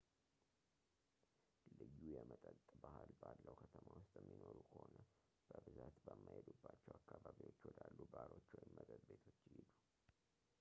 ልዩ የመጠጥ ባህል ባለው ከተማ ውስጥ የሚኖሩ ከሆነ በብዛት በማይሄዱባቸው አካባቢዎች ወዳሉ ባሮች ወይም መጠጥ ቤቶች ይሂዱ